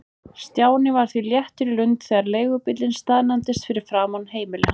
Stjáni var því léttur í lund þegar leigubíllinn staðnæmdist fyrir framan heimili hans.